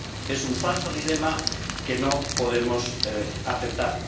Es un falso dilema que no podemos aceptar.